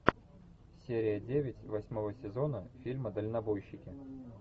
серия девять восьмого сезона фильма дальнобойщики